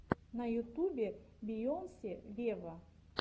на ютубе бейонсе вево